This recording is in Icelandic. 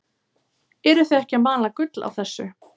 Eruð þið ekki að mala gull á þessu?